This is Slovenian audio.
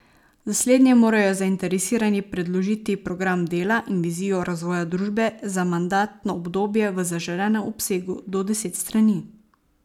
Za slednje morajo zainteresirani predložiti program dela in vizijo razvoja družbe za mandatno obdobje v zaželenem obsegu do deset strani.